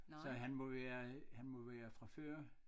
Så han må være han må være fra før